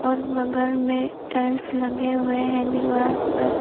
और बगल में टाइल्स लगे हुए हैं दीवार पर--